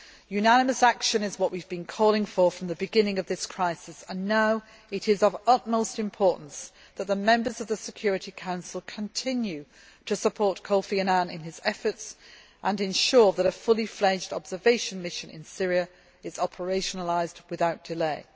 Unanimous action is what we have been calling for from the beginning of this crisis, and now it is of utmost importance that the members of the Security Council continue to support Kofi Annan in his efforts and ensure that a fully fledged observation mission in Syria is operationalised without delay.